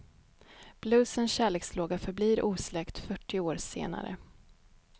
Bluesens kärlekslåga förblir osläckt fyrtio år senare.